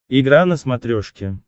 игра на смотрешке